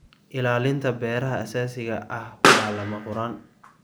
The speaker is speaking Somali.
Ilaalinta beeraha aasaasiga ah waa lama huraan.